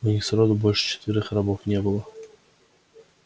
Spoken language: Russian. у них сроду больше четверых рабов не было